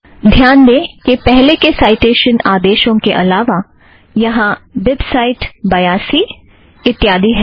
ध्यान दें कि पहले के साइटेशन संदेशों के अलावा यहाँ बिबसाइट सी पी बयासी इत्यादि है